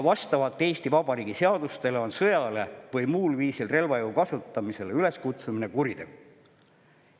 Vastavalt Eesti Vabariigi seadustele on sõjale või muul viisil relvajõu kasutamisele üleskutsumine kuritegu.